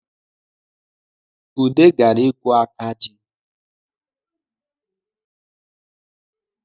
Ude gara ikwu aka ji